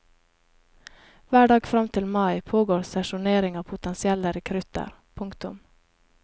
Hver dag fram til mai pågår sesjonering av potensielle rekrutter. punktum